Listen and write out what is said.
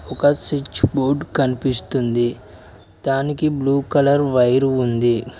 ఒక switch board కనిపిస్తుంది దానికి బ్లూ కలర్ వైరు ఉంది